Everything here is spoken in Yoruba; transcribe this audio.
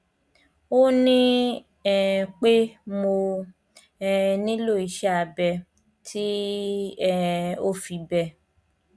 o ní um pé mo um nílò iṣẹ abẹ tí um ò fi bẹẹ